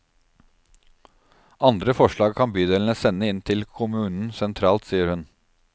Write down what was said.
Andre forslag kan bydelene sende inn til kommunen sentralt, sier hun.